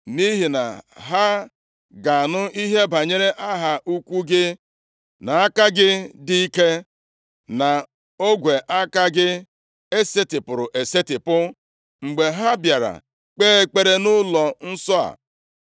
nʼihi na ha ga-anụ ihe banyere aha ukwu gị, nʼaka gị dị ike na ogwe aka gị e setipụrụ esetipụ. Mgbe ha bịara kpee ekpere nʼụlọnsọ a,